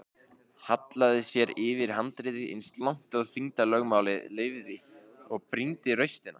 Hallaði sér yfir handriðið eins langt og þyngdarlögmálið leyfði og brýndi raustina.